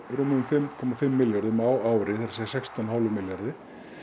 rúmum fimm komma fimm milljörðum á ári það er sextán komma fimm milljörðum